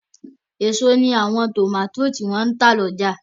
Èso ní àwọn tòmátò tó n tà lọ́jà